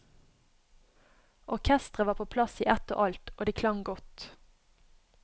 Orkestret var på plass i ett og alt, og det klang godt.